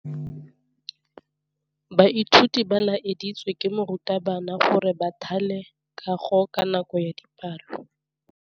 Baithuti ba laeditswe ke morutabana gore ba thale kagô ka nako ya dipalô.